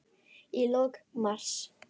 Í lok mars